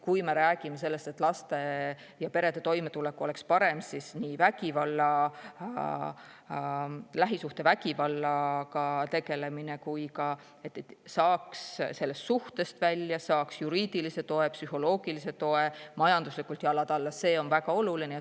Kui me räägime sellest, et laste ja perede toimetulek peaks olema parem, siis see, et lähisuhtevägivalla tegeldakse, samuti see, et saaks suhtest välja, saaks juriidilise toe ja psühholoogilise toe ning majanduslikult jalad alla, on väga oluline.